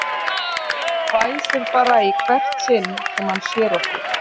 Hann hvæsir bara í hvert sinn sem hann sér okkur